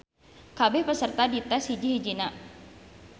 Kabeh peserta dites hiji-hijina.